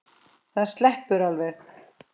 Það sleppur alveg.